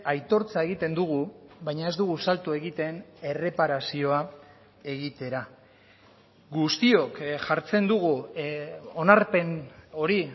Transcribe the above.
aitortza egiten dugu baina ez dugu salto egiten erreparazioa egitera guztiok jartzen dugu onarpen hori